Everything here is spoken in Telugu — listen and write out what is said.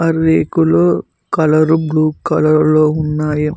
రేకులు కలరు బ్లూ కలర్ లో ఉన్నాయి.